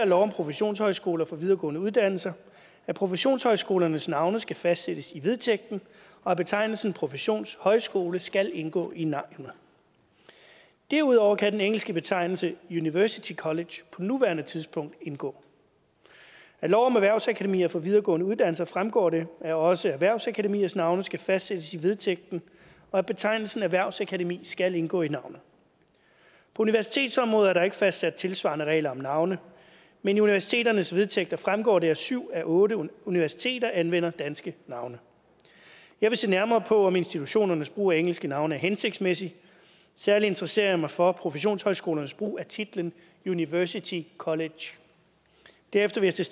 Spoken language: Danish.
lov om professionshøjskoler for videregående uddannelser at professionshøjskolernes navne skal fastsættes i vedtægten og at betegnelsen professionshøjskole skal indgå i navnet derudover kan den engelske betegnelse university college på nuværende tidspunkt indgå af lov om erhvervsakademier for videregående uddannelser fremgår det at også erhvervsakademiers navne skal fastsættes i vedtægten og at betegnelsen erhvervsakademi skal indgå i navnet på universitetsområdet er der ikke fastsat tilsvarende regler om navne men i universiteternes vedtægter fremgår det at syv ud af otte universiteter anvender danske navne jeg vil se nærmere på om institutionernes brug af engelske navne er hensigtsmæssig særlig interesserer mig for professionshøjskolernes brug af titlen university college derefter vil jeg